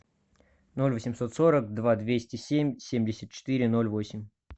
ноль восемьсот сорок два двести семь семьдесят четыре ноль восемь